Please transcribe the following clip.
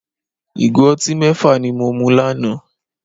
Ìgò ọtí mẹ́fà ni mo mu lánàá